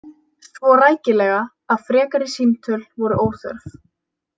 Svo rækilega að frekari símtöl voru óþörf.